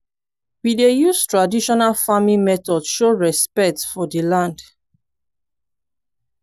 we dey use traditional farming method show respect for di land.